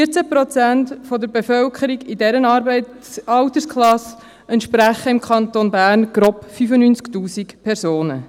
14 Prozent der Bevölkerung in dieser Altersklasse entsprechen im Kanton Bern grob 95 000 Personen.